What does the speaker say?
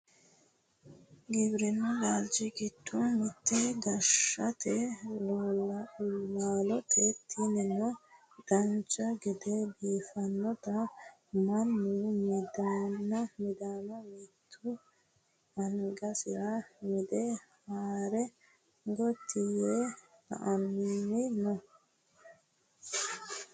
giwirinnu laalchi giddo mitte gaashete laalooti tinino dancha gede biiffinota mannu midanna mittu angasira mide haare gotti yee la"anni no